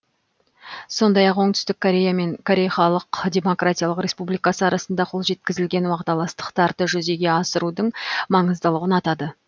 сондай ақ оңтүстік корея мен корей халық демократиялық республикасы арасында қол жеткізілген уағдаластықтарды жүзеге асырудың маңыздылығын атады